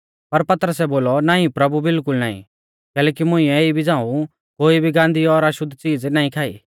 पर पतरसै बोलौ नाईं प्रभु बिलकुल नाईं कैलैकि मुंइऐ इबी झ़ांऊ कोई भी गान्दी और अशुद्ध च़ीज़ नाईं खाई